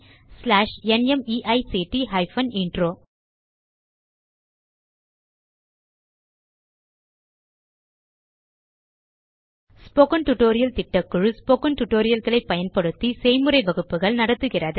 spoken tutorial திட்டக்குழு spoken tutorial களை பயன்படுத்தி செய்முறை வகுப்புகள் நடத்துகிறது